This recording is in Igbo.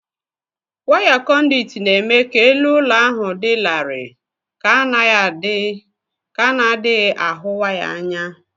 Waya kọ̀ndị̀ụ̀t na-eme ka elu ụlọ ahụ dị larịị ka a na-adịghị ahụ waya anya w